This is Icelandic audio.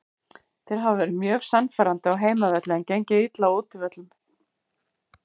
Þeir hafa verið mjög sannfærandi á heimavelli en gengið illa á útivöllum.